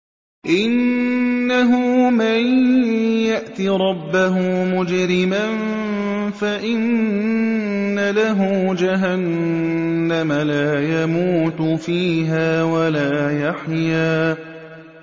إِنَّهُ مَن يَأْتِ رَبَّهُ مُجْرِمًا فَإِنَّ لَهُ جَهَنَّمَ لَا يَمُوتُ فِيهَا وَلَا يَحْيَىٰ